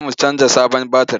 Za mu canja sabon batir.